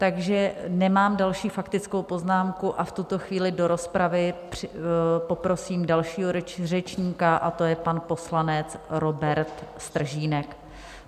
Takže nemám další faktickou poznámku a v tuto chvíli do rozpravy poprosím dalšího řečníka, a to je pan poslanec Robert Stržínek.